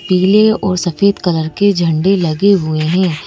पीले और सफेद कलर के झंडे लगे हुए हैं।